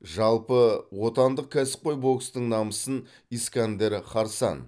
жалпы отандық кәсіпқой бокстың намысын искандер харсан